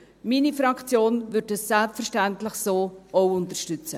Meine Fraktion wird dies selbstverständlich so auch unterstützen.